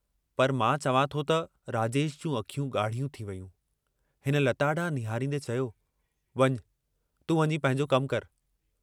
पर मां चवां थो त... " राजेश जूं अखियूं गाढ़ियूं थी वयूं, हिन लता डांहुं निहारींदे चयो, वञ तूं वञी पंहिंजो कमु करि।